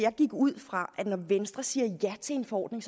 jeg gik ud fra at når venstre siger ja til en forordning